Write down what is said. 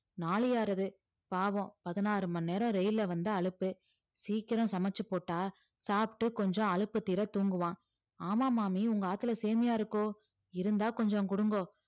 நாழியாறது பாவம் பதினாறு மணி நேரம் ரெயில்ல வந்தா அலுப்பு சீக்கிரம் சமச்சு போட்டா சாப்பிட்டு கொஞ்சம் அலுப்பு தீர தூங்குவான் ஆமா மாமி உங்க ஆத்தில சேமியா இருக்கோ இருந்தா கொஞ்சம் குடுங்கோ